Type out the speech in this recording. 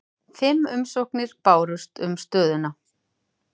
Fimm umsóknir bárust um stöðuna